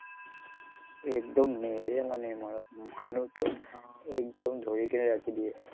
একদম নেৰে মানে, মানুহটোক একদম ধৰি ৰাখি দিয়ে।